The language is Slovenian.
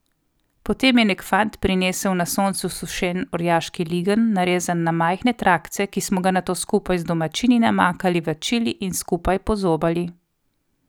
Potem je nek fant prinesel na soncu sušen orjaški ligenj, narezan na majhne trakce, ki smo ga nato skupaj z domačini namakali v čili in skupaj pozobali.